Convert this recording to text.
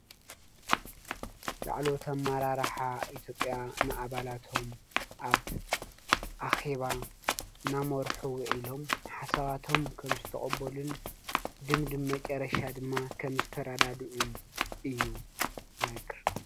ላዕለዎት አመራርሓ ኢትዮጵያ ንኣባላቶም ኣብ ኣኼባ ናመርሑ ዉዒሎም ሓሳባቶም ከም ዝተቀበሉን ድምድም መጨረሻ ድማ ከም ዝተረዳድኡን እዪ ዝነግር።